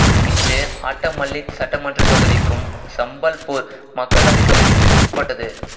இது ஆட்டமல்லிக் சட்டமன்றத் தொகுதிக்கும் சம்பல்பூர் மக்களவைத் தொகுதிக்கும் உட்பட்டது